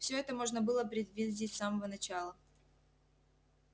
всё это можно было предвидеть с самого начала